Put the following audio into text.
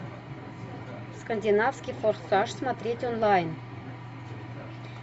скандинавский форсаж смотреть онлайн